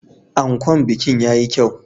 Ankon bikin ya yi kyau.